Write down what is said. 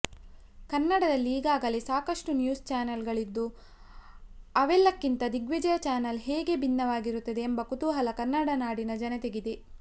ಕನ್ನಡದಲ್ಲಿ ಈಗಾಗಲೆ ಸಾಕಷ್ಟು ನ್ಯೂಸ್ ಚಾನೆಲ್ಗಳಿದ್ದು ಅವೆಲ್ಲಕ್ಕಿಂತ ದಿಗ್ವಿಜಯ ಚಾನೆಲ್ ಹೇಗೆ ಭಿನ್ನವಾಗಿರುತ್ತದೆ ಎಂಬ ಕುತೂಹಲ ಕನ್ನಡನಾಡಿನ ಜನತೆಗಿದೆ